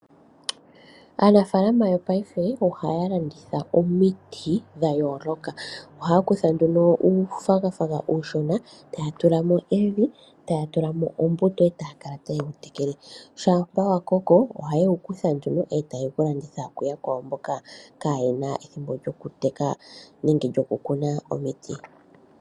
Aanafaalama yopaife ohaya landitha omiti dhayoolokathana ohaya kutha nduno uunayilona e taya tula mo evi nosho woo oombete nenge nditye oonkenya otaya kala taya tekele mo ethimbo kehe nongele wamene nawa oha ye wulanditha po kaantu mboka ye wuhala.